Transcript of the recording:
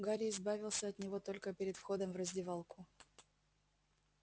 гарри избавился от него только перед входом в раздевалку